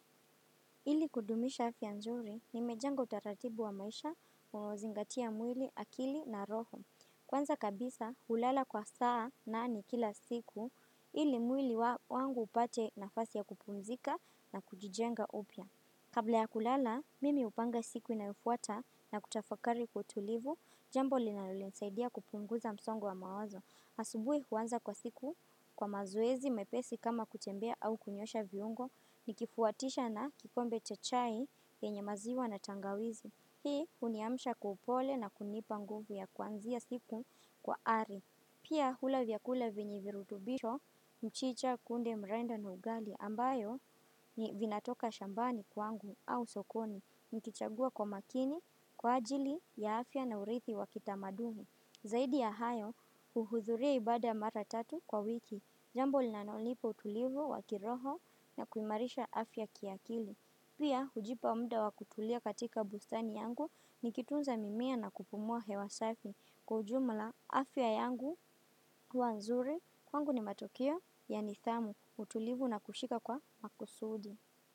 Ili kudumisha afya nzuri, nimejenga utaratibu wa maisha kuzingatia mwili akili na roho. Kwanza kabisa, hulala kwa saa nane kila siku, ili mwili wangu upate nafasi ya kupumzika na kujijenga upya. Kabla ya kulala, mimi hupanga siku inayofuata na kutafakari kwa utulivu, jambo linalo nisaidia kupunguza msongo wa mawazo. Asubuhi huanza kwa siku kwa mazoezi mepesi kama kutembea au kunyoosha viungo nikifuatisha na kikombe cha chai yenye maziwa na tangawizi. Hii uniamsha kwa upole na kunipa nguvu ya kwanzia siku kwa ari. Pia hula vyakula vyenye virutubisho mchicha kunde mrenda na ugali ambayo ni vinatoka shambani kwangu au sokoni. Nikichagua kwa makini kwa ajili ya afya na urithi wa kitamadumi. Zaidi ya hayo, uhudhuria ibada mara tatu kwa wiki, jambo linalo nipa utulivu wa kiroho na kuimarisha afya kiakili. Pia, hujipa muda wa kutulia katika bustani yangu nikitunza mimea na kupumua hewa safi kwa ujumla afya yangu huwa nzuri kwangu ni matokeo ya nidhamu utulivu na kushika kwa makusudi.